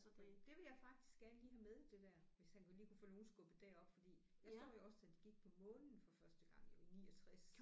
Nej det vil jeg faktisk gerne lige have med det der hvis han kunne lige kunne få nogen skubbet derop fordi jeg så jo også da de gik på månen for første gang jo i 69